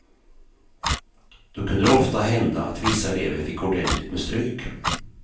Då kunde det ofta hända att vissa elever fick ordentligt med stryk.